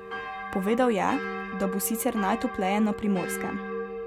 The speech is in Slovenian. Povedal je, da bo sicer najtopleje na Primorskem.